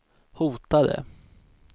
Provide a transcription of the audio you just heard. hotade